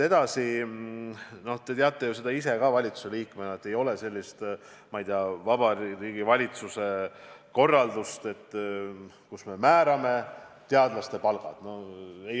Edasi, no te teate seda ise ka valitsuse liikmena, et ei ole sellist, ma ei tea, Vabariigi Valitsuse korraldust, millega me määrame teadlaste palgad.